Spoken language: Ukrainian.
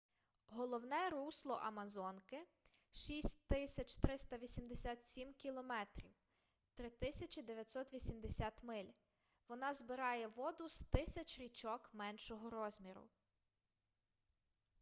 головне русло амазонки — 6,387 км 3,980 миль. вона збирає воду з тисяч річок меншого розміру